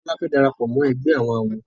Tola fè darapọ̀ mọ ègbé àwọn àwo.